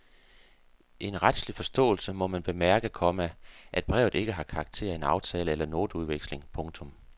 I en retslig forståelse må man bemærke, komma at brevet ikke har karakter af en aftale eller noteudveksling. punktum